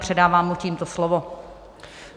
Předávám mu tímto slovo.